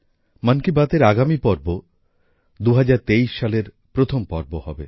মন কি বাতের আগামী পর্ব ২০২৩ সালের প্রথম পর্ব হবে